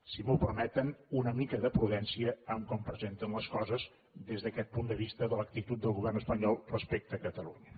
si m’ho permeten una mica de prudència en com presenten les coses des d’aquest punt de vista de l’actitud del govern espanyol respecte a catalunya